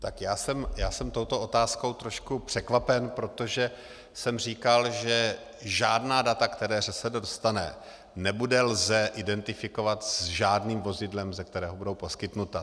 Tak já jsem touto otázkou trošku překvapen, protože jsem říkal, že žádná data, která ŘSD dostane, nebude lze identifikovat s žádným vozidlem, ze kterého budou poskytnuta.